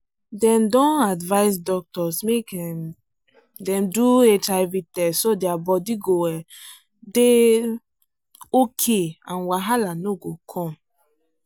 dem don advise doctors make um dem do hiv test so their body go um dey okay and wahala no go come.